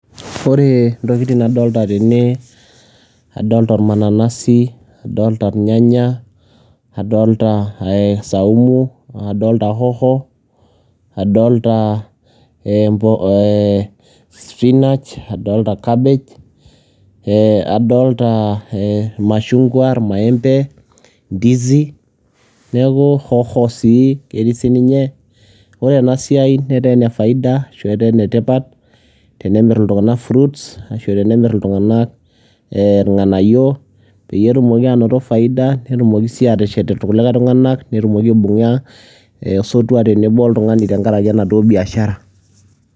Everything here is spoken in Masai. ore ntokitin nadoolta tene adolta ormananasi, nadooolta irnyanaya, nadoolta saumu, nadoolta hoho nadoolta ee spinach adoolta cabbage, ee adolta irmashungua irmaembe nadoolta ndizi neeku hoho sii ketii sii ninye, ore ena siai netaa ene faida ashu etaa ene tipat tenemir iltungank fruits ashu tenemir iltungank irnganayio, peyie etumoki aanoto faida netumoki sii aateshet irkuliake tunganak, netumoki aibunga osotua tenebo oltungani tenkaraki enaduoo biashara..